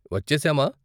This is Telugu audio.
వచ్చేసామా?